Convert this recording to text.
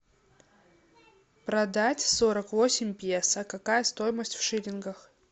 продать сорок восемь песо какая стоимость в шиллингах